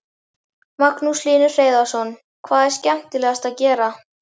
Magnús Hlynur Hreiðarsson: Hvað er skemmtilegast að gera?